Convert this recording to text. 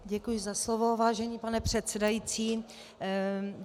Děkuji za slovo, vážený pane předsedající.